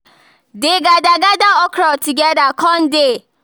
dey gather gather okra together con dey